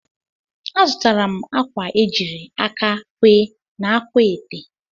Azụtara m akwa e jiri aka kwee n'akwaete